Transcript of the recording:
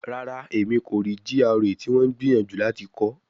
Rara, Emi ko rii GRA ti wọn n gbiyanju lati kọ